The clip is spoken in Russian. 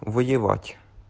воевать